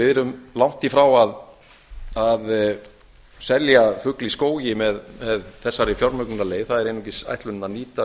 við erum langt í frá að selja fugl í skógi með þessari fjármögnunarleið það er einungis ætlunin að nýta